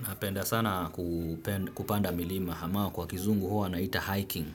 Napenda sana kupanda milima ambao kwa kizungu huwa wanaita hiking.